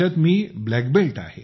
मी black belt आहे